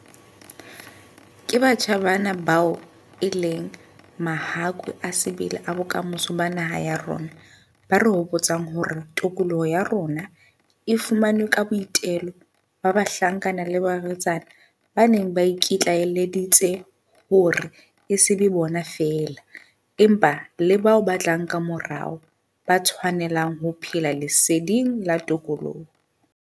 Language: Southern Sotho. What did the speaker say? Ke batjha bana bao e leng mahakwe a sebele a bokamoso ba naha ya rona, ba re hopotsang hore tokoloho ya rona e fumanwe ka boitelo ba bahlankana le barwetsana ba neng ba iki tlaelleditse hore e se be bona feela, empa le bao ba tlang kamorao, ba tshwanelang ho phela leseding la tokoloho.